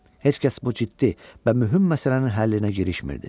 Heç kəs bu ciddi və mühüm məsələnin həllinə girişmirdi.